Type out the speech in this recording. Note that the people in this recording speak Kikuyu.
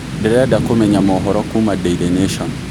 ndĩrenda kumenya mohoro kũũma daily nation